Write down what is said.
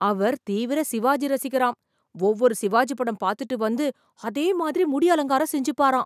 அவர் தீவிர சிவாஜி ரசிகராம். ஒவ்வொரு சிவாஜி படம் பாத்துட்டு வந்து அதே மாதிரி முடி அலங்காரம் செஞ்சுப்பாராம்.